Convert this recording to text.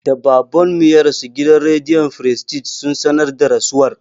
Da Baban mu ya rasu, gidan rediyo firistij sun sanar da rasuwar.